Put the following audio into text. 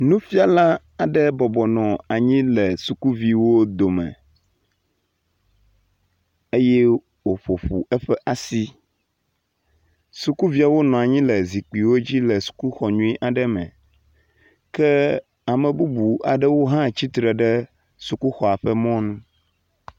Nufiala aɖe bɔbɔnɔ anyi le sukuviwo dome eye woƒoƒo eƒe asi. Sukuviawo nɔ anyi le zikpuiwo dzi le sukuxɔ nyui aɖe me kea me bubu aɖewo hã tsitre ɖe sukuxɔa ƒe mɔnu.